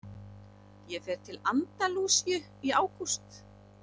Ég fer til Andalúsíu í ágúst.